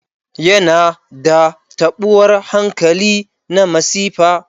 Yana da taɓuwar hankali na masifa.